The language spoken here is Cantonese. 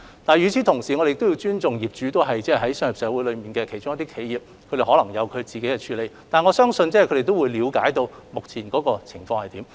但是，與此同時，我們亦須尊重業主是商業社會中的企業，他們可能也有自身一套處理方法，但我相信他們必定了解目前的社會狀況如何。